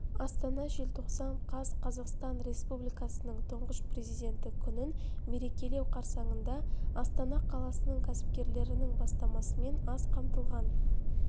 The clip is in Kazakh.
астана желтоқсан қаз қазақстан республикасының тұңғыш президенті күнін мерекелеу қарсаңында астана қаласының кәсіпкерлерінің бастамасымен аз қамтылған